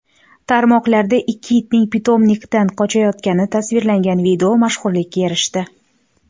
Tarmoqlarda ikki itning pitomnikdan qochayotgani tasvirlangan video mashhurlikka erishdi .